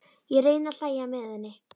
Ég reyni að hlæja með henni.